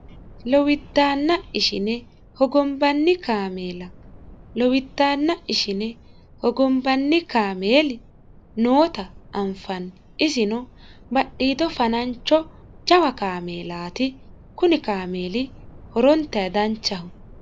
Lowidaanna ishine hogombanni kaameella. Lowidaanna ishine hogombanni kaameeli noota anfanni isino badhiido fanancho jawa kaameelaati kunni kaameeli horontayi danchaho.